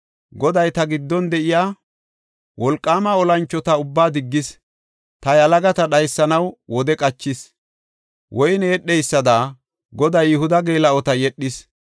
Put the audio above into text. Goday ta giddon de7iya wolqaama olanchota ubbaa diggis. Ta yalagata dhaysanaw wode qachis; woyne yedheysada, Goday Yihuda geela7ota yedhis.